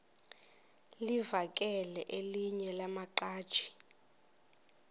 livakele elinye lamaqhaji